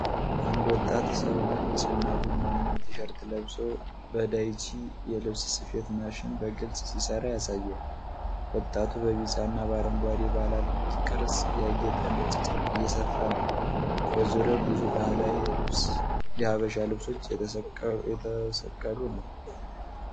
አንድ ወጣት ሰው ነጭ እና ቡናማ ቲ-ሸርት ለብሶ በዳይቺ የልብስ ስፌት ማሽን በግልጽ ሲሠራ ያሳያል። ወጣቱ በቢጫ እና በአረንጓዴ ባለ አልማዝ ቅርጽ ያጌጠ ነጭ ጨርቅ እየሰፋ ነው። በዙሪያው ብዙ ባህላዊ የሐበሻ ልብሶች የተሰቀሉ ነው።